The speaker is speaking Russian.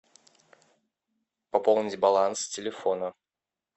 пополнить баланс телефона